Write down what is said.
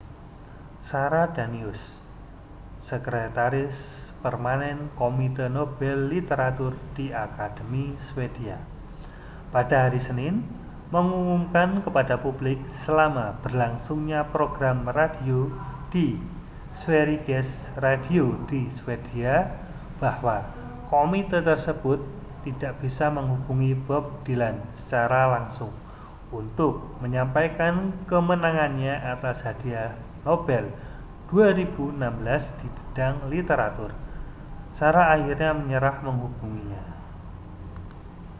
sara danius sekretaris permanen komite nobel literatur di akademi swedia pada hari senin mengumumkan kepada publik selama berlangsungnya program radio di sveriges radio di swedia bahwa komite tersebut tidak bisa menghubungi bob dylan secara langsung untuk menyampaikan kemenangannya atas hadiah nobel 2016 di bidang literatur sara akhirnya menyerah menghubunginya